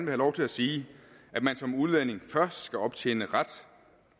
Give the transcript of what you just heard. have lov til at sige at man som udlænding først skal optjene ret